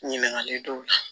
Ɲininkali dɔw la